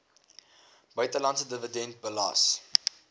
buitelandse dividend belas